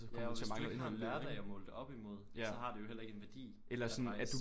Ja og hvis du ikke har en hverdag at måle det op imod så har det jo heller ikke en værdi at rejse